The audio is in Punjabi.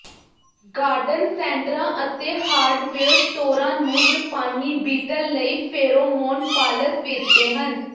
ਗਾਰਡਨ ਸੈਂਟਰਾਂ ਅਤੇ ਹਾਰਡਵੇਅਰ ਸਟੋਰਾਂ ਨੂੰ ਜਪਾਨੀ ਬੀਟਲ ਲਈ ਫੇਰੋਮੋਨ ਫਾਲਸ ਵੇਚਦੇ ਹਨ